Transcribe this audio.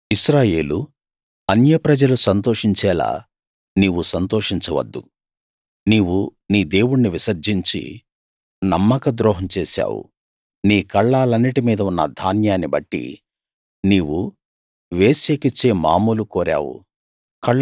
ఇశ్రాయేలూ అన్యప్రజలు సంతోషించేలా నీవు సంతోషించవద్దు నీవు నీ దేవుణ్ణి విసర్జించి నమ్మక ద్రోహం చేశావు నీ కళ్ళాలన్నిటి మీద ఉన్న ధాన్యాన్ని బట్టి నీవు వేశ్యకిచ్చే మామూలు కోరావు